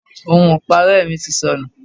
Ohun ipare mi ti sọnù.